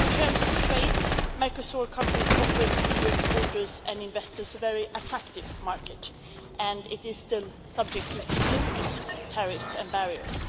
So in terms of trade Mercosur countries offer EU exporters and investors a very attractive market and this is still subject to significant tariffs and barriers.